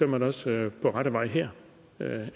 man også er på rette vej her